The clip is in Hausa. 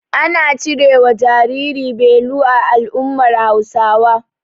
Ana cirewa jariri beli a al'ummar Hausawa.